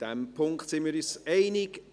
In diesem Punkt sind wir uns einig: